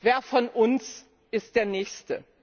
Wer von uns ist der nächste?